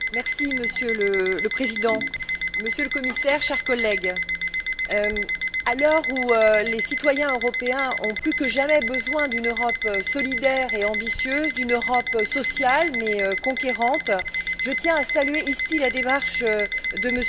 Monsieur le Président, Monsieur le Commissaire, chers collègues, à l'heure où les citoyens européens ont plus que jamais besoin d'une Europe solidaire et ambitieuse, d'une Europe sociale mais conquérante, je tiens à saluer ici la démarche de M.